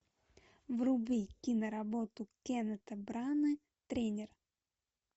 вруби киноработу кеннета брана тренер